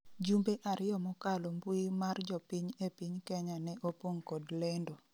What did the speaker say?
jumbe ariyo mokalo mbui mar jopiny e piny Kenya ne opong' kod lendo